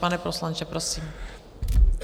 Pane poslanče, prosím.